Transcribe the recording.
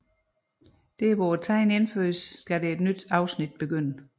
Der hvor tegnet indføjes skal et nyt afsnit begynde